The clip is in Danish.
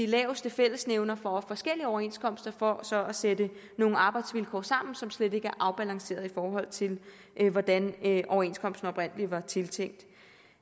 laveste fællesnævner fra forskellige overenskomster for så at sætte nogle arbejdsvilkår sammen som slet ikke er afbalancerede i forhold til hvordan overenskomsten oprindelig var tiltænkt